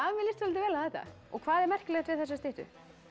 mér líst soldið vel á þetta hvað er merkilegt við þessa styttu